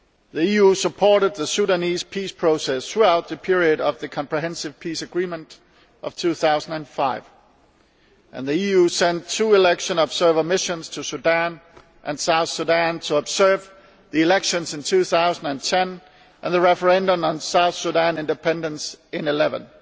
The EU supported the Sudanese peace process throughout the period of the Comprehensive Peace Agreement of 2005, and sent two election observation missions to Sudan and South Sudan to observe the elections in 2010 and the referendum on South Sudan's independence in 2011.